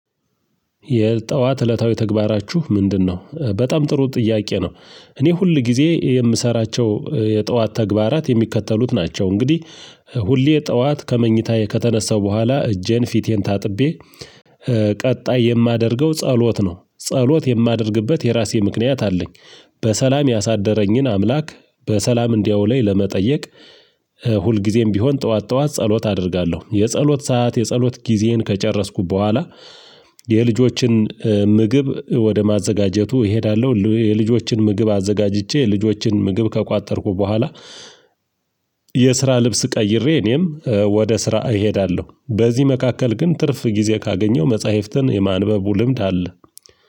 የጠዋት እለታዊ ተግባራችሁ ምንድነው? በጣም ጥሩ ጥያቄ ነው። እኔ ሁል ጊዜ የምሰራቸው የጠዋት ተግባራት የሚከተሉት ናቸው። እንግዲህ ሁሌ ጠዋት ከመኝታዬ ከተነሰሁ በኋላ እጄን ፊቴን ታጥቤ ቀጣይ የማደርገው ጸሎት ነው። ጸሎት የማደርግበት የራሴ ምክንያት አለኝ። በሰላም ያሳደረኝን አምላክ በሰላም እንዲያውለኝ ለመጠየቅ እ ሁልጊዜም ቢሆን ጠዋት ጠዋት ጸሎት አደርጋለሁ። የጸሎት ሰዓት የጸሎት ጊዜን ከጨረስኩ በኋላ የልጆችን ምግብ ወደ ማዘጋጀቱ እሄዳለሁ። ሉ የልጆችን ምግብ አዘጋጅቼ የልጆችን ምግብ ከቋጠርኩ በኋላ የስራ ልብስ ቀይሬ እኔም ወደ ስራ እሄዳለሁ። በዚህ መካከል ግን ትርፍ ጊዜ ካገኘው መጽሐፍትን የማንበቡ ልምድ አለ።